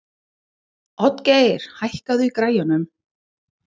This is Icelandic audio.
Oddgeir, hækkaðu í græjunum.